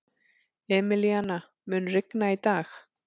Emilíana, mun rigna í dag?